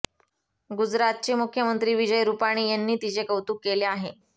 गुजरातचे मुख्यमंत्री विजय रुपानी यांनी तिचे कौतुक केले आहे